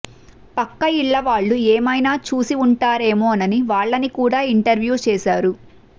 పక్క ఇళ్ళ వాళ్ళు ఏమైనా చూసివుంటారేమోనని వాళ్ళని కూడ ఇంటర్వ్యూ చేశారు